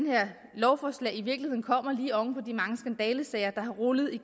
lovforslag i virkeligheden kommer lige oven på de mange skandalesager der har rullet i